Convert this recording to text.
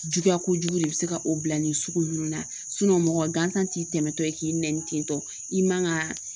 Juguya kojugu de bɛ se ka o bila nin sugu ninnu na mɔgɔ gansan t'i tɛmɛtɔ ye k'i nɛni tentɔ i man ka